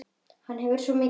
Hann hefur það svo gott.